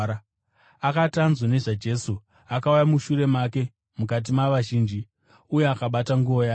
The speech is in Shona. Akati anzwa nezvaJesu, akauya mushure make mukati mavazhinji uye akabata nguo yake,